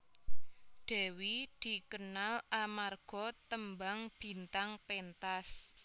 Dewi dikenal amarga tembang Bintang Pentas